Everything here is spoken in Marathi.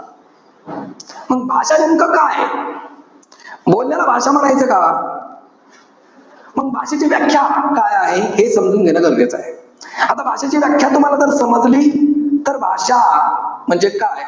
मग भाषा नेमकं काये? बाण्याला भाषा म्हणायचं का? मग भाषेची व्याख्या काय आहे? हे समजून घेणं गरजेचं आहे. आता भाषेची व्याख्या जर तुम्हाला समजली. तर भाषा हा म्हणजे काय?